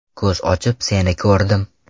Ko‘z ochib seni ko‘rdim.